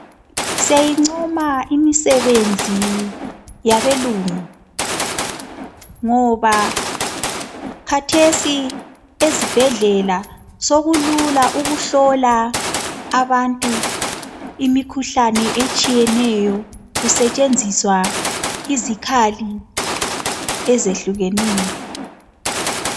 Siyayincoma imisebenzi yabelungu ngoba khathesi ezibhedlela sokulula ukuhlola abantu imikhuhlane etshiyeneyo kusetshenziswa izikhali ezehlukeneyo.